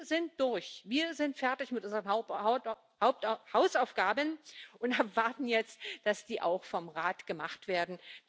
Wir sind durch, wir sind fertig mit unseren Hausaufgaben und erwarten jetzt, dass die auch vom Rat gemacht werden.